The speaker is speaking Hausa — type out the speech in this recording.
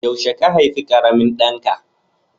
Yaushe ka haifi ƙaramin ɗanka?